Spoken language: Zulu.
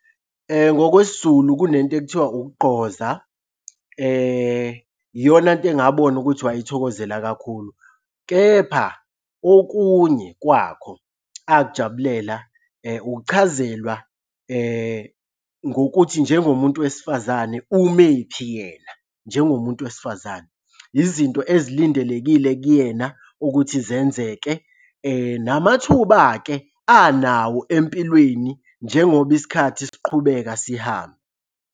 NgokwesiZulu kunento ekuthiwa ukugqoza. Iyona nto engabona ukuthi wayithokozela kakhulu, kepha okunye kwakho akujabulela ukuchazelwa ngokuthi njengomuntu wesifazane ume kuphi yena njengomuntu wesifazane. Izinto ezilindelekile kuyena ukuthi zenzeke namathuba-ke anawo empilweni njengoba isikhathi siqhubeka sihamba.